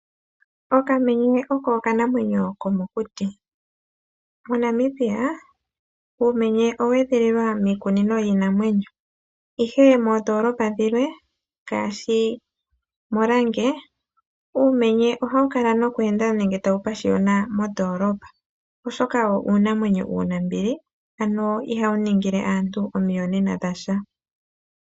Okamenye oko okanamwenyo komokuti. MoNamibia uumenye owe edhililwa miikunino yiinamwenyo, ihe moondoolopa dhilwe ngaashi molange, uumenye ohawu kala nokweenda nenge tawu pashiyona mondoolopa, oshoka wo uunamwenyo uunambili ano ihawu ningile aantu omiyonena dhasha.